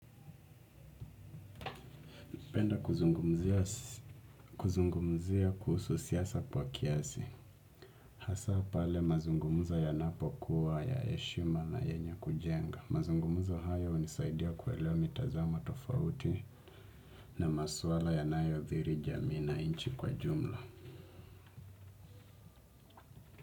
Penda kuzungumzia kuhusu siasa kwa kiasi. Hasa pale mazungumzo yanapokuwa ya heshima na yenye kujenga. Mazungumzo haya hunisaidia kuelewa mitazamo tofauti na maswala yanayo thiri jamii na nchi kwa jumla.